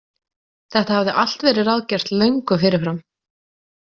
Þetta hafði allt verið ráðgert löngu fyrirfram.